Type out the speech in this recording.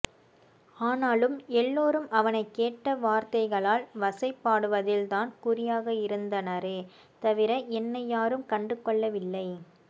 ஆனாலும் எல்லாரும் அவனை கேட்ட வார்த்தைகளால் வசை பாடுவதில் தான் குறியாக இருந்தனரே தவிர என்னை யாரும் கண்டுகொள்ளவில்லை